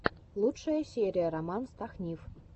лучшая серия роман стахнив